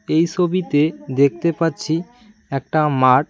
এই সবিতে দেখতে পাচ্ছি একটা মাঠ--